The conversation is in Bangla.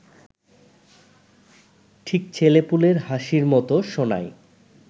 ঠিক ছেলেপুলের হাসির মতো শোনায়